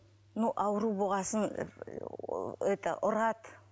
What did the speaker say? ну ауру болған соң это ұрады